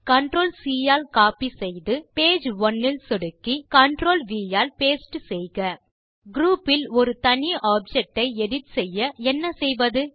Ctrl மற்றும் C ஆல் copy செய்து பேஜ் ஒனே இல் சொடுக்கி Ctrl மற்றும் வி ஆல் பாஸ்டே செய்க குரூப் இல் ஒரு தனி ஆப்ஜெக்ட் ஐ எடிட் செய்ய என்ன செய்வது